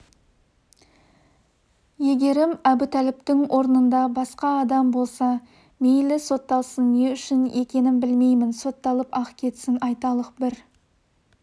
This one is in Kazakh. егерім әбутәліптің орнында басқа адам болса мейлі сотталсын не үшін екенін білмеймін сотталып-ақ кетсін айталық бір